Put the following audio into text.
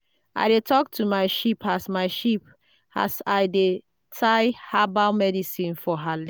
i dey talk to my sheep as my sheep as i dey tie herbal medicine for her